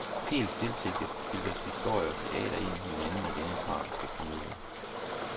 Helt tilsigtet filtres historie og teater ind i hinanden i denne tragiske komedie.